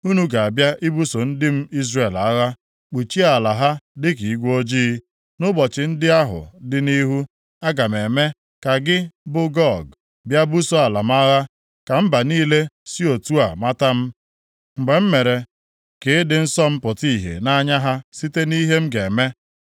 Unu ga-abịa ibuso ndị m Izrel agha, kpuchie ala ha dịka igwe ojii. Nʼụbọchị ndị ahụ dị nʼihu, aga m eme ka gị, bụ Gog, bịa buso ala m agha, ka mba niile si otu a mata m, mgbe m mere ka ịdị nsọ m pụta ìhè nʼanya ha site nʼihe m ga-eme.’